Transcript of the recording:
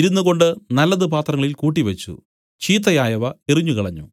ഇരുന്നുകൊണ്ട് നല്ലത് പാത്രങ്ങളിൽ കൂട്ടിവച്ചു ചീത്തയായവ എറിഞ്ഞുകളഞ്ഞു